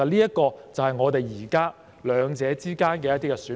這就是我們現時在兩者之間的一些選項。